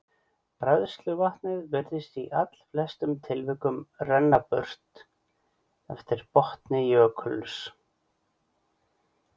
Bræðsluvatnið virðist í allflestum tilfellum renna burt eftir botni jökulsins.